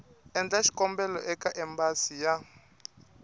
endla xikombelo eka embasi ya